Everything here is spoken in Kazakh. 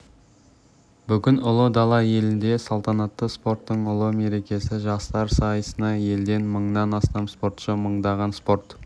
бүгін ұлы дала елінде салтанатты спорттың ұлы мерекесі жастар сайысына елден мыңнан астам спортшы мыңдаған спорт